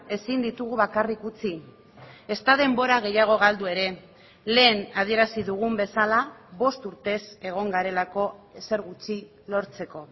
ezin ditugu bakarrik utzi ezta denbora gehiago galdu ere lehen adierazi dugun bezala bost urtez egon garelako ezer gutxi lortzeko